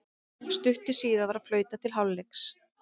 Stuttu síðar var flautað til hálfleiks.